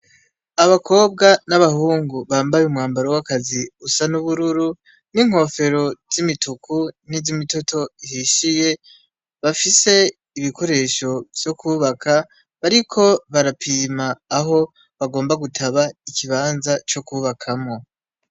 Abakobwa n'abahungu bambaye umwambaro w'akazi usa n'ubururu n'inkofero z'imituku n'iz’imitoto ihishiye bafise ibikoresho vyo kubaka bariko barapima aho bagomba gutaba ikibanza co kubakamwo.